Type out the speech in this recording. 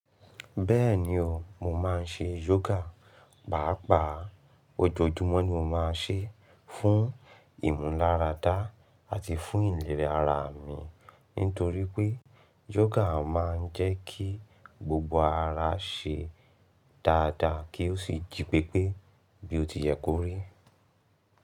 Bẹ́ẹ̀ni o, mo máa ń ṣe yoga. Pàápàá ojoojúmọ́ ni mo máa ń ṣe fún ìmúláradá àti fún ìlera ara mi. Nítorí pé yoga máa ń jẹ́ kí gbogbo ara ṣe dáadáa kí ó sì jí pépé bí ó ti yẹ kó rí.